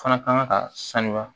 Fana kan ka sanuya